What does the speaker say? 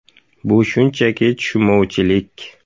Bu shunchaki tushunmovchilik.